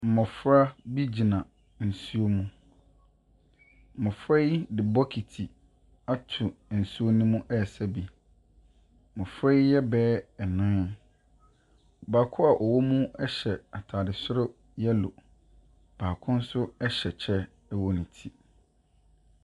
Mmɔfra bi gyina nsuo mu. Mmɔfra yi de bokiti ato nsuo mu resa bi. Mmɔfra yi yɛ bɛyɛ nnan. Baako a ɔwɔ mu hyɛ atade soro yellow, baako nso hyɛ kyɛ wɔ ne ti .